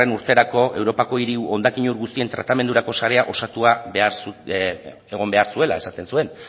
urterako europako hiri hondakin ur guztien tratamendurako sarea osatua egon behar zuela esaten zuen